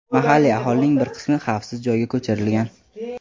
mahalliy aholining bir qismi xavfsiz joyga ko‘chirilgan.